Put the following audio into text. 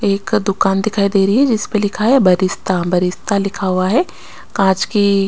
एक दूकान दिखाई दे रही है जिसपे लिखा है बरिस्ता बरिस्ता लिखा हुआ है काच की--